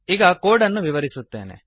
ಈಗ ಕೋಡ್ ಅನ್ನು ವಿವರಿಸುತ್ತೇನೆ